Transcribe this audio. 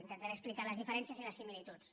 intentaré explicar ne les diferències i les similituds